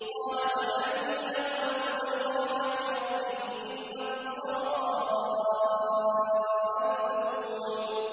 قَالَ وَمَن يَقْنَطُ مِن رَّحْمَةِ رَبِّهِ إِلَّا الضَّالُّونَ